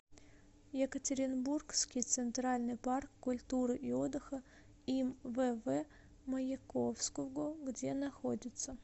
екатеринбургский центральный парк культуры и отдыха им вв маяковского где находится